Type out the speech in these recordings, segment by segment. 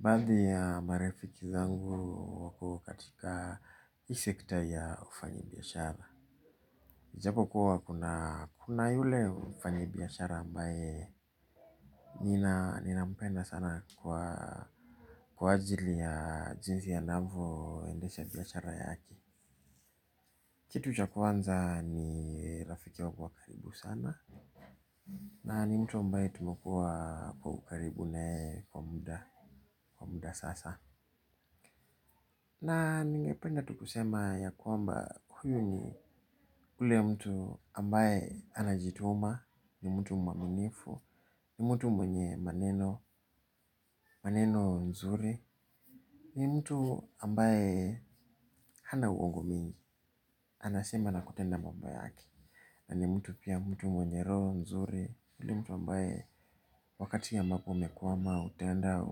Badhi ya marafiki zangu wako katika hii sekta ya ufanyi biyashara ijapo kuwa kuna yule mfanyi biyashara ambaye nina mpenda sana kwa ajili ya jinsi anavo endesha biyashara yake kitu cha kwanza ni rafiki wangu wa karibu sana na ni mtu ambaye tumekuwa kwa ukaribu na yeye kwa muda sasa. Na ningependa tu kusema ya kuamba huyu ni ule mtu ambaye anajituma, ni mtu mwaminifu, ni mtu mwenye maneno, maneno nzuri, ni mtu ambaye hana uongo mingi, anasema na kutenda mambo yake. Na ni mtu pia mtu mwenye roo, mzuri. Ule mtu ambaye wakati ambapo umekwama, utaenda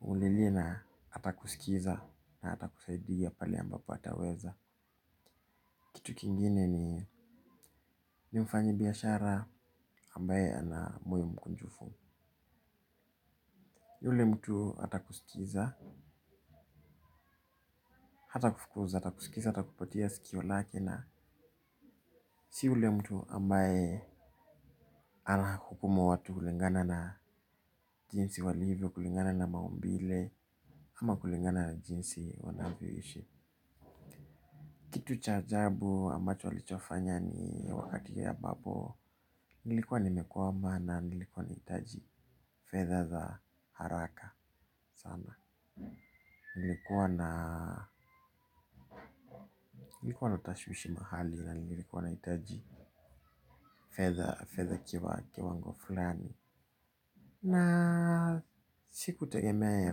umlilie na atakusikiza na atakusaidia pale ambapo ataweza. Kitu kingine ni ni mfanyibiashara ambaye ana moyo mkunjufu. Ule mtu atakusikiza, hatakufukuza, atakusikiza, atakupatia sikio lake na si yule mtu ambaye anahukumu watu kulingana na jinsi walivyo kulingana na maumbile ama kulingana na jinsi wanavyoishi. Kitu cha ajabu ambacho alichofanya ni wakati ambapo nilikuwa nimekwama na nilikuwa nahitaji fedha za haraka sana nilikuwa na nilikuwa na tashwishi mahali na nilikuwa nahitaji fedha kiwango fulani. Na sikutegemea ya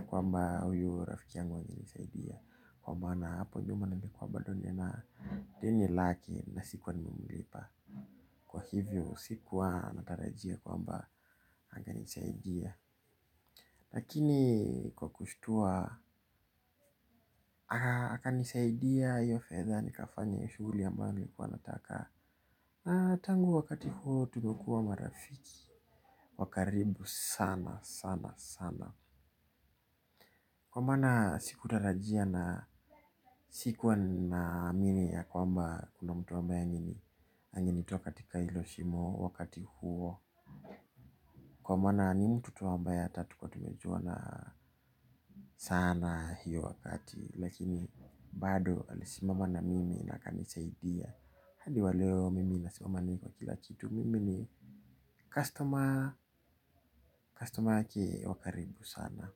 kwamba huyu rafiki yangu angenisaidia kwa maana hapo nyuma nilikuwa bado nina deni lake na sikuwa nimemilipa kwa hivyo sikuwa natarajia kwamba angenisaidia lakini kwa kushtua akanisaidia hiyo fedha nikafanya hiyo shughuli ambayo nilikuwa nataka. Na tangu wakati huo tumekuwa marafiki wa karibu sana sana sana. Kwa maana sikutarajia na sikuwa naamini ya kwamba kuna mtu ambaye angenitoa katika hilo shimo wakati huo. Kwa maana ni mtu tu ambaye hata hatukuwa tumejuana sana hiyo wakati lakini bado alisimama na mimi na akanisaidia. Hadi wa leo mimi nasimama na yeye kwa kila kitu mimi ni customer, customer wake wa karibu sana.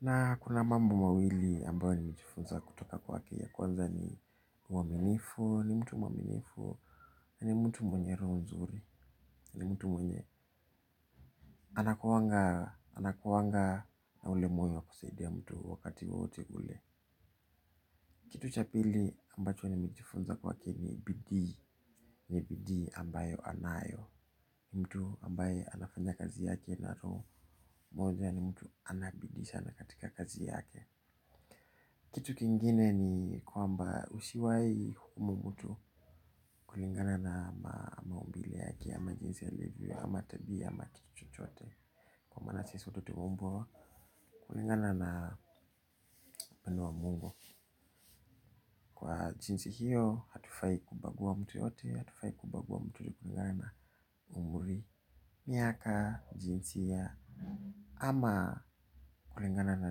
Na kuna mambo mawili ambayo nimejifunza kutoka kwake ya kwanza ni uaminifu, ni mtu mwaminifu na ni mtu mwenye roho nzuri, ni mtu mwenye anakuanga anakuanga na ule moyo wa kusaidia mtu wakati wowote ule. Kitu cha pili ambacho nimejifunza kwake ni bidii, ni bidii ambayo anayo. Mtu ambaye anafanya kazi yake na roho moja ni mtu ana bidii sana katika kazi yake. Kitu kingine ni kwamba usiwahi hukumu mtu kulingana na maumbile yake ama jinsi alivyo ama tabia ama kitu chochote kwa maana sisi wote tumeumbwa kulingana na upendo wa mungu. Kwa jinsi hiyo hatufai kubagua mtu yeyote hatufai kubagua mtu kulingana na umri, miaka, jinsia ama kulingana na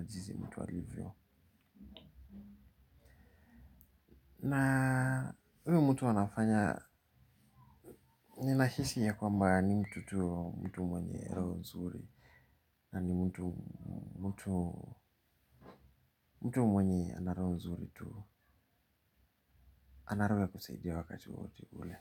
jinsi mtu alivyo. Na huyu mtu anafanya ninahisi ya kwamba ni mtu tu mtu mwenye roho nzuri na ni mtu mtu mwenye ana roho nzuri tu ana roho ya kusaidia wakati wowote ule.